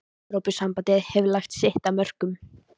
Evrópusambandið hefur lagt sitt af mörkum.